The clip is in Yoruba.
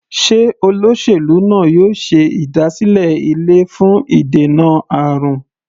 Sé olóṣèlú náà yóò ṣe ìdásílẹ̀ ilé fún ìdènà àrùn?